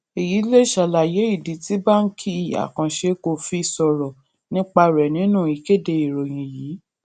èyí lè ṣàlàyé ìdí tí báńkì àkànṣe kò fi sòrò nípa rè nínú ìkéde ìròyìn yìí